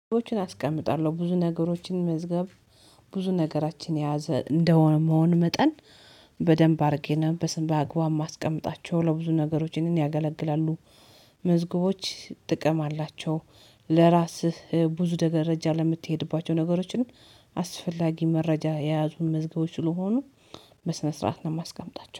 አስቀምጣለሁ ብዙ ነገሮችን መዝገብ ብዙ ነገራችን የያዘ እንደመሆን መጠን በደንብ አድርጌን በስን በአግባብ ማስቀመጣቸው ለብዙ ነገሮች ይህንን ያገለግላሉ። መዝገቦች ጥቅም አላቸው። ለራስህ ብዙ ደረጃ ለምትሄድባቸው ነገሮችም አስፈላጊ መረጃ የያዙን መዝገቦች ስለሆኑ በስነ ስርዓት ነው የማስቀምጣቸው